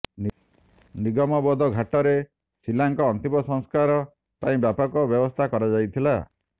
ନିଗମବୋଧ ଘାଟରେ ଶୀଲାଙ୍କ ଅନ୍ତିମ ସଂସ୍କାର ପାଇଁ ବ୍ୟାପକ ବ୍ୟବସ୍ଥା କରାଯାଇଥିଲା